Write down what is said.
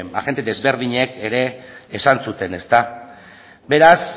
agente ezberdinek ere esan zuten beraz